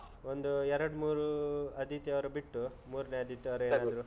ಒಂದು ಎರಡ್ - ಮೂರು ಆದಿತ್ಯವಾರ ಬಿಟ್ಟು, ಮೂರ್ನೇ ಆದಿತ್ಯವಾರ ಎಲ್ರೂ